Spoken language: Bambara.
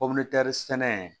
sɛnɛ